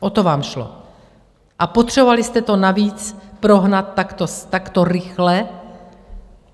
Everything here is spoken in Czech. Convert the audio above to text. O to vám šlo a potřebovali jste to navíc prohnat takto rychle.